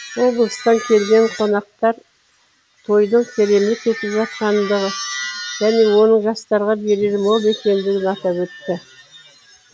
облыстан келген қонақтар тойдың керемет өтіп жатқандығы және оның жастарға берері мол екендігін атап өтті